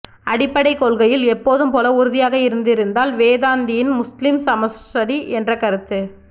அடிப்படை கொள்கையில் எப்போதும்போல உறுதியாக இருந்திருந்தால் வேதாந்தியின் முஸ்லிம் சமஸ்டி என்ற கருத்து